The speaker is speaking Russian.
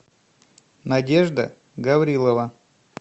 надежда гаврилова